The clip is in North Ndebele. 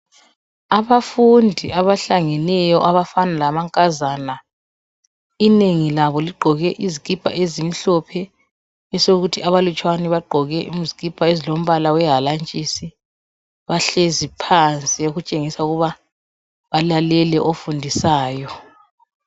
Abafundi abafana lamankazana, inengi labo ligqoke izikipa ezimphlope esokuthi abalutshwane bagqoke izikipa ezilombala wehalantshisi. Bahlezi phansi okutshengisa ukuba balalele ofundisayo.